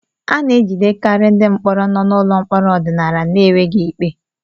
A na-ejidekarị ndị mkpọrọ nọ n'ụlọ mkpọrọ ọdịnala n'enweghị ikpe